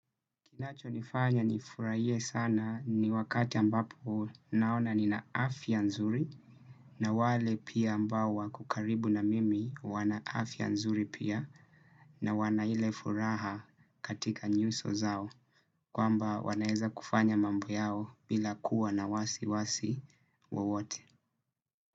Kinachonifanya nifurahie sana ni wakati ambapo naona nina afya nzuri na wale pia ambao wako karibu na mimi wana afya nzuri pia na wana ile furaha katika nyuso zao kwamba wanaeza kufanya mambo yao bila kuwa na wasi wasi wowote.